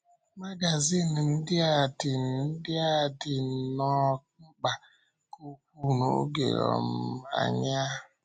Mágazín ndị a dị ndị a dị nnọọ mkpa nke ukwuu n’oge um anyị a.